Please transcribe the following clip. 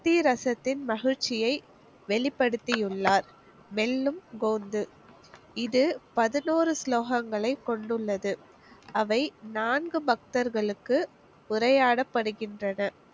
பக்தி ரசத்தின் மகிழ்ச்சியை வெளிப்படுத்தி உள்ளார். வெல்லும் இது பதினோறு ஸ்லோகங்களை கொண்டுள்ளது. அவை நான்கு பக்தர்களுக்கு உரையாடப்படுகின்றன.